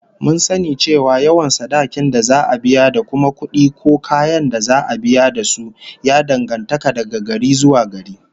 Mun sani cewa yawan sadakin da za'a biya da kuma kudi ko kayan da za'a biya da su, ya danganta daga gari zuwa gari